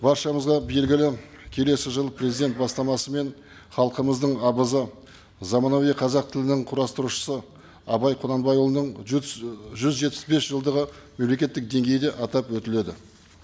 баршамызға белгілі келесі жыл президент бастамасымен халқымыздың абызы заманауи қазақ тілінің құрастырушысы абай құнанбайұлының жүз і жүз жетпіс бес жылдығы мемлекеттік деңгейде атап өтіледі